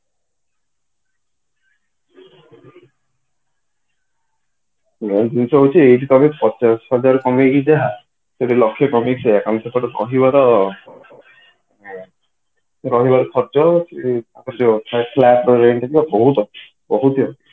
ଏଇ ଜିନିଷ ହଉଛି ଏଇଠି ତମେ ଦଶ ହଜାର କମେଇକି ଯାହା ସେଇଠି ଲକ୍ଷେ କମେଇକି ସେୟା କାରଣ ସେପଟେ କହିବାର ରହିବାର ଖର୍ଚ ବହୂତ ବହୁତ